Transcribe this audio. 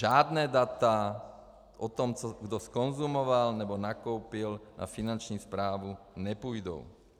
Žádná data o tom, kdo co zkonzumoval nebo nakoupil na Finanční správu nepůjdou.